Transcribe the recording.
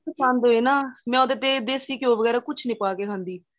ਪਸੰਦ ਹੋਏ ਨਾ ਮੈਂ ਉਹਦੇ ਤੇ ਦੇਸੀ ਘਿਓਂ ਵਗੇਰਾ ਕੁੱਛ ਨਹੀਂ ਪਾਕੇ ਖਾਂਦੀ